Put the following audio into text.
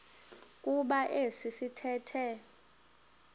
kuba esi sithethe